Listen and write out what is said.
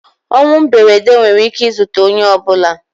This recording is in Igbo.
Ọnwụ mberede nwere ike ị zute onye ọbụla.